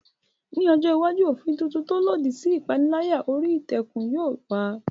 Ní ọjọ́ iwájú, òfin tuntun tó lòdì sí ìpániláyà orí ìtàkùn yóò wà.